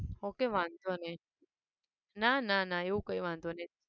Okay વાંધો નહિ ના ના એવું કઈ વાંધો નહિ.